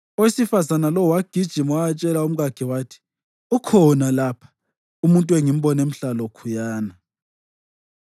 Owesifazane lowo wagijima wayatshela umkakhe wathi, “Ukhona lapha! Umuntu engimbone mhlalokhuyana!”